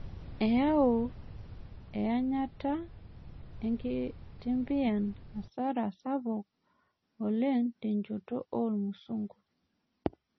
Eyua eanyata enkitimbian hasara sapuk oleng' tenjoto ormusungu.